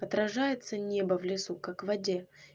отражается небо в лесу как в воде